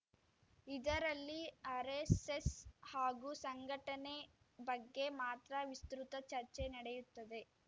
ಇದರಲ್ಲಿ ಆರೆಸ್ಸೆಸ್‌ ಹಾಗೂ ಸಂಘಟನೆ ಬಗ್ಗೆ ಮಾತ್ರ ವಿಸ್ತೃತ ಚರ್ಚೆ ನಡೆಯುತ್ತದೆ